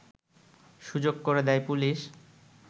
সুযোগ করে দেয় পুলিশ